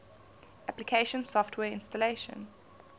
application software installation